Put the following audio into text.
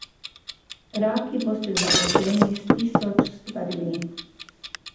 Raki boste zaposleni s tisoč stvarmi.